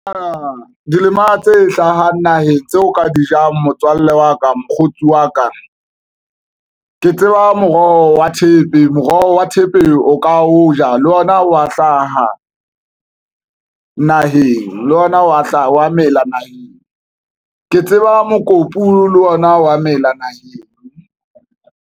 Dilema tse hlahang naheng tseo ka di jang. Motswalle wa ka mokgotsi wa ka ke tseba moroho wa thepe, moroho wa thepe o ka o ja le ona wa hlaha naheng le ona wa hlaha wa mela naheng ke tseba mokopu le ona wa mela naheng.